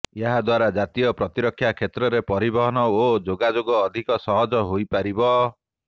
ଏହାଦ୍ୱାରା ଜାତୀୟ ପ୍ରତିରକ୍ଷା କ୍ଷେତ୍ରରେ ପରିବହନ ଓ ଯୋଗାଯୋଗ ଅଧିକ ସହଜ ହୋଇପାରିବ